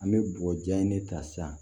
An bɛ bɔgɔ jan de ta sisan